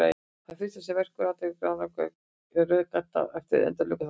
Það fyrsta sem vekur athygli við ranakollur er röð gadda eftir endilöngu bakinu.